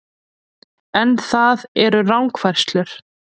En það eru rangfærslur